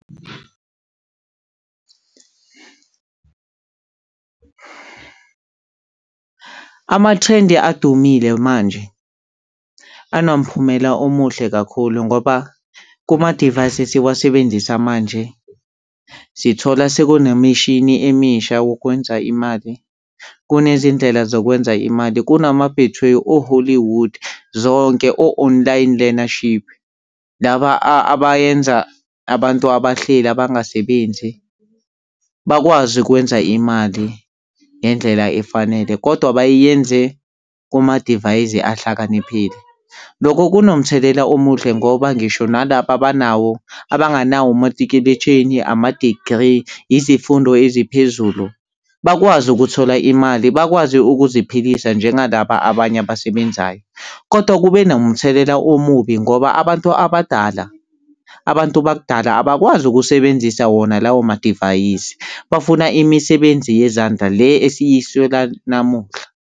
Ama-trend adumile manje anomphumela omuhle kakhulu ngoba kumadivayisi esiwasebenzisa manje sithola sekunemishini emisha wokwenza imali. Kunezindlela zokwenza imali kunama-Betway, o-Hollywood zonke o-online learnership. Laba abayenza abantu abahleli abangasebenzi bakwazi ukwenza imali ngendlela efanele kodwa bayiyenze kumadivayisi ahlakaniphile. Lokho kunomthelela omuhle ngoba ngisho nalaba abanawo abanganawo umatikuletsheni, ama-degree, izifundo eziphezulu bakwazi ukuthola imali, bakwazi ukuziphilisa njengalaba abanye abasebenzayo. Kodwa kube nomthelela omubi ngoba abantu abadala, abantu bakudala abakwazi ukusebenzisa wona lawo madivayisi bafuna imisebenzi yezandla le esiyiswela namuhla.